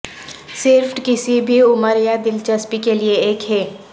صرف کسی بھی عمر یا دلچسپی کے لئے ایک ہے